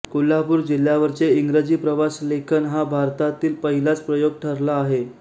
कोल्हापूर जिल्ह्यावरचे इंग्रजी प्रवास लेखन हा भारतातील पहिलाच प्रयोग ठरला आहे